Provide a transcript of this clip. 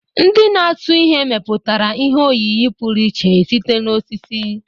Ndị na-atụ ihe mepụtara ihe oyiyi pụrụ iche site na osisi.